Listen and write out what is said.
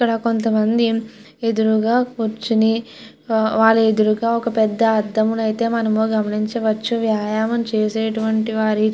ఇక్కడ కొంత మంది ఎదురుగ కూర్చొని వారి ఎదురుగ ఒక పెద్ద అద్దం ని అయతె మనం గమనించవచ్చు వ్యాయామం చేసెటువంటి వారు --